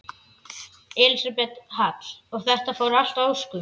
Elísabet Hall: Og þetta fór allt að óskum?